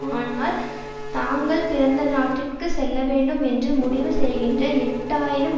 ஆனால் தாங்கள் பிறந்த நாட்டிற்கு செல்ல வேண்டும் என்று முடிவு செய்கின்ற எட்டு ஆயிரம்